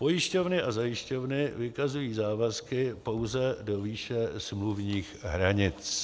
Pojišťovny a zajišťovny vykazují závazky pouze do výše smluvních hranic.